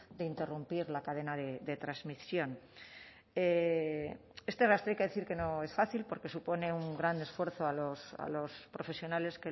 de interrumpir la cadena de transmisión este rastro hay que decir que no es fácil porque supone un gran esfuerzo a los profesionales